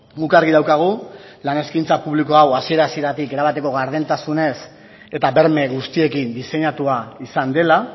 guk argi daukagu lan eskaintza publikoa hau hasiera hasieratik erabateko gardentasunez eta berme guztiekin diseinatua izan dela